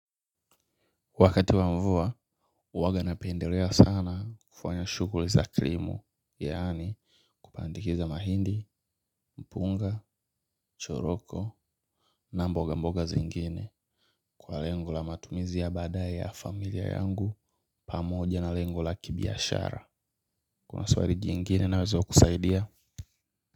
Wakati wa mvua, uwaga napendelea sana kufanya shuguri za krimu, yaani kupandikiza mahindi, mpunga, choroko na mboga mboga zingine. Kwa lengo la matumizi ya baadaye ya familia yangu pamoja na lengo la kibiashara kuna swali jingine nazo kusaidia.